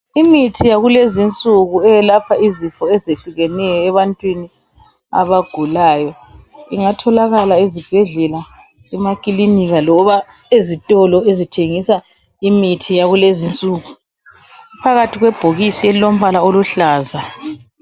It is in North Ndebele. Imithi yakulezinsuku eyelapha izifo ezihlukeneyo ebantwini abagulayo. Ingatholakala ezibhedlela, emakilinika loba ezitolo ezithengisa imithi yakulezinsuku. Iphakathi kwebhokisi elilombala oluhlaza.